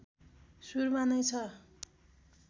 सुरुमा नै छ